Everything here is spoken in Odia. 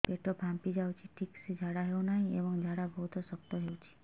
ପେଟ ଫାମ୍ପି ଯାଉଛି ଠିକ ସେ ଝାଡା ହେଉନାହିଁ ଏବଂ ଝାଡା ବହୁତ ଶକ୍ତ ହେଉଛି